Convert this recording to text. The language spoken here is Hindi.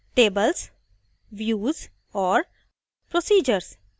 tables views और procedures